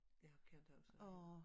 Ja ham kender jeg også ja